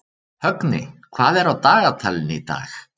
Högni, hvað er á dagatalinu í dag?